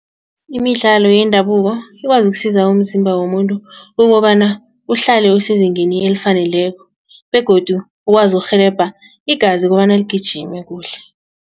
Imidlalo yendabuko ikwazi ukusiza umzimba womuntu kukobana uhlale usezingeni elifaneleko begodu ukwazi ukurhelebha igazi kobana ligijime kuhle.